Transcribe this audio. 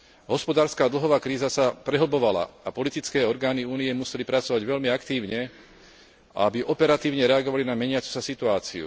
Hospodárska a dlhová kríza sa prehlbovala a politické orgány Únie museli pracovať veľmi aktívne, aby operatívne reagovali na meniacu sa situáciu.